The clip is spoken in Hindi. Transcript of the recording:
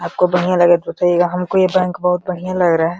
आपको बढ़िया लगे तो बताइयेगा। हमको ये बैंक बोहोत बढ़िया लग रहा है।